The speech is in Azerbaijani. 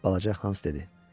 Balaca Hans dedi.